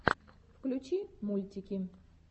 включи мультики